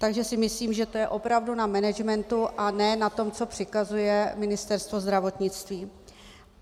Takže si myslím, že to je opravdu na managementu a ne na tom, co přikazuje Ministerstvo zdravotnictví.